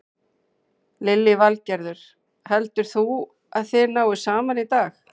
Lillý Valgerður: Heldur þú að þið náið saman í dag?